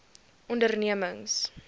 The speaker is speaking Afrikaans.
ondernemings